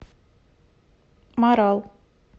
марал